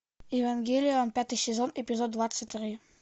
евангелион пятый сезон эпизод двадцать три